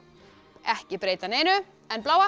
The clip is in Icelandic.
ekki breyta neinu en bláa